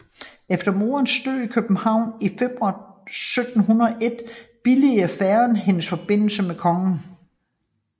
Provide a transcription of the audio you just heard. Efter moderens død i København i februar 1701 billigede faderen hendes forbindelse med kongen